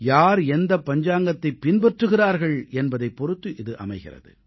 யார் எந்த பஞ்சாங்கத்தைப் பின்பற்றுகிறார்கள் என்பதைப் பொறுத்து இது அமைகிறது